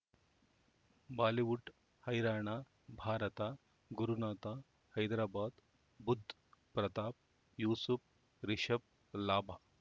Bollywood ಹೈರಾಣ ಭಾರತ ಗುರುನಾಥ ಹೈದರಾಬಾದ್ ಬುಧ್ ಪ್ರತಾಪ್ ಯೂಸುಫ್ ರಿಷಬ್ ಲಾಭ